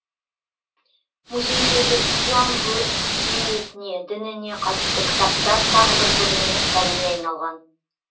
музейдегі ислам өрнениетіне дініне қатысты кітаптар тағы бір көрменің сәніне айналған